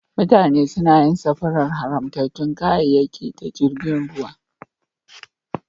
Mutane suna yin safarar haramtattun kayayyaki ta jirgin ruwa.